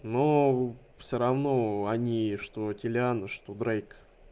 ну всё равно они что телян что брейк